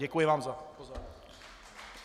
Děkuji vám za pozornost.